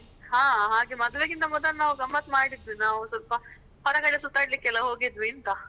ಹಾ, ಹಾಗೆ ಮದ್ವೆಗಿಂತ ಮೊದಲು ನಾವು ಗಮ್ಮತ್ ಮಾಡಿದ್ವಿ ನಾವು ಸ್ವಲ್ಪ ಹೊರಗಡೆ ಸುತಾಡ್ಲಿಕ್ಕೆಲ್ಲ ಹೋಗಿದ್ವಿ ಅಂತ.